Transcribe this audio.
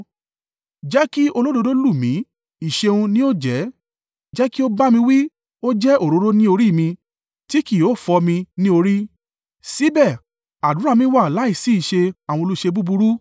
Jẹ́ kí olódodo lù mí, ìṣeun ni ó jẹ́: jẹ́ kí ó bá mi wí, ó jẹ́ òróró ní orí mi. Tí kì yóò fọ́ mi ní orí. Síbẹ̀ àdúrà mi wá láìsí ìṣe àwọn olùṣe búburú.